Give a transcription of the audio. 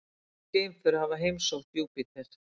Nokkur geimför hafa heimsótt Júpíter.